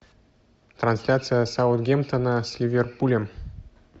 трансляция саутгемптона с ливерпулем